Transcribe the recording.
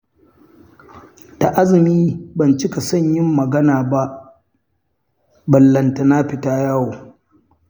Da azumi ban cika son yin magana ba, ballatana fita yawo.